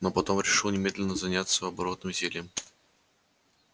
но потом решил немедленно заняться оборотным зельем